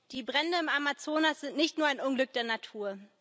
Die Brände im Amazonas sind nicht nur ein Unglück der Natur.